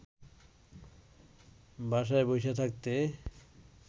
বাসায় বইসা থাকতে